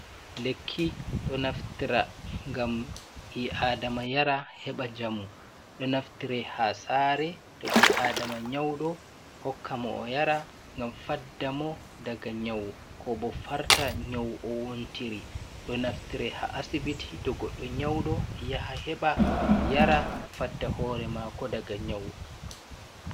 Lekki ɗo naftira ngam bi aɗama yara heba jamu. ɗo naftire ha sare to bi adama nyauɗo hokka mo o yara ngam faɗɗa mo daga nyau. ko bo farta nyau o wontiri. Ɗo naftire ha asibiti to goɗɗo nyauɗo yaha heba yara faɗɗa hore mako ɗaga nyau.